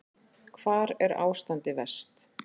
Hvar er ástandið verst?